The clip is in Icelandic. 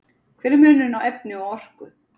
Hver er munurinn á efni og orku?